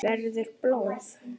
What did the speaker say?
Verður blóð.